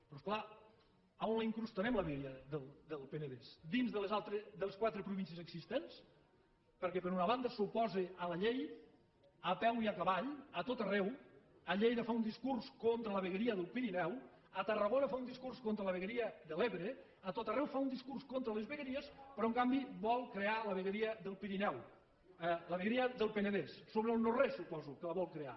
però és clar on la incrustarem la vegueria del penedès dins de les quatre províncies existents perquè per una banda s’oposa a la llei a peu i a cavall a tot arreu a lleida fa un discurs contra la vegueria del pirineu a tarragona fa un discurs contra la vegueria de l’ebre a tot arreu fa un discurs contra les vegueries però en canvi vol crear la vegueria del penedès sobre el no res suposo que la vol crear